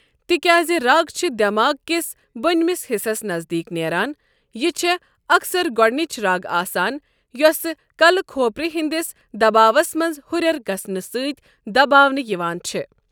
تِکیٛازِ رَگ چھِ دٮ۪ماغہٕ كِس بۄنِمِس حصَس نزدیٖک نٮ۪ران، یہِ چھےٚ اکثر گۄڈٕنِچ رَگ آسان یۄسہٕ كلہٕ كھوپرِ ہٕنٛدس دباوس منٛز ہُرٮ۪ر گژھنہٕ سۭتۍ دباونہٕ یوان چھ۔